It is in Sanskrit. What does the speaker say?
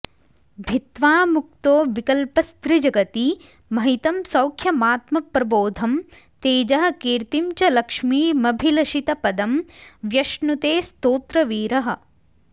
भित्वा मुक्तो विकल्पस्त्रिजगति महितं सौख्यमात्मप्रबोधं तेजः कीर्तिं च लक्ष्मीमभिलषितपदं व्यश्नुते स्तोत्रवीरः